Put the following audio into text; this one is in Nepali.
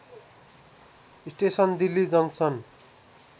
station Delhi junction